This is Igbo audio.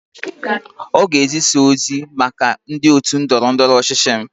Ọ ga-ezisa ozi maka ndị otu ndọrọ ndọrọ ọchịchị m.